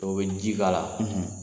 Dɔw bɛ ji k'ala la,